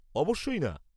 অবশ্যই না।